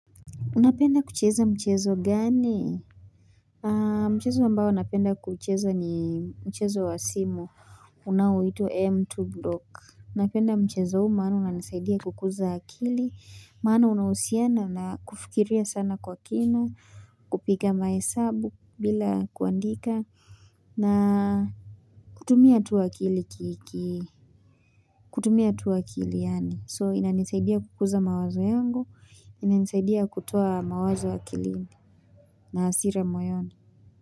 Unapenda kucheza mchezo gani Mchezo ambao napenda kuucheza ni mchezo wa simu unaoitwa M2Block napenda mchezo huu maana unanisaidia kukuza akili maana unahusiana na kufikiria sana kwa kina kupiga mahesabu bila kuandika na kutumia tu akili kutumia tu akili yaani so inanisaidia kukuza mawazo yangu inanisaidia kutoa mawazo akili na hasira moyoni.